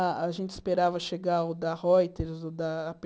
A a gente esperava chegar o da Reuters, o da á pê